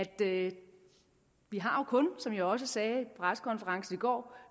at vi som jeg også sagde ved pressekonferencen i går